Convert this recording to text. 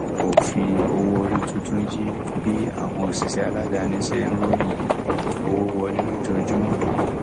òfin owó orí tuntun yí bí àwọn òṣìṣẹ aládàáni ṣe ń ròyìn owó wọlé lójoojúmọ